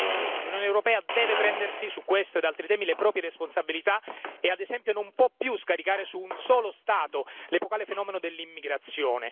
Bene, l'Unione europea deve prendersi su questo ed altri temi le proprie responsabilità e ad esempio non può più scaricare su un solo Stato l'epocale fenomeno dell'immigrazione.